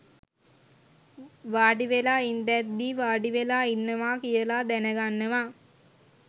වාඩිවෙලා ඉන්දැද්දී වාඩිවෙලා ඉන්නවා කියල දැනගන්නවා